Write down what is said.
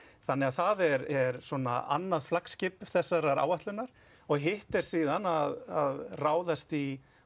það er annað flaggskip þessarar áætlunnar hitt er síðan að ráðast í